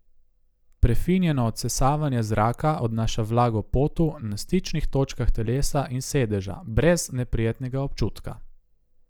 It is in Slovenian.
Prefinjeno odsesavanje zraka odnaša vlago potu, na stičnih točkah telesa in sedeža, brez neprijetnega občutka.